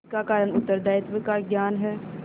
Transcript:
इसका कारण उत्तरदायित्व का ज्ञान है